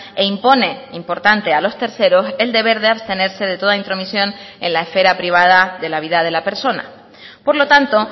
e impone importante a los terceros el deber de abstenerse de toda intromisión en la esfera privada de la vida de la persona por lo tanto